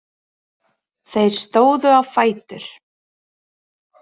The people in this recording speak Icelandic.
Þeir stóðu á fætur.